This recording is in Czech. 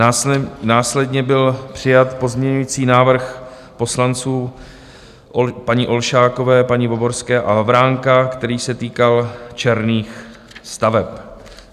Následně byl přijat pozměňující návrh poslanců paní Olšákové, paní Voborské a Havránka, který se týkal černých staveb.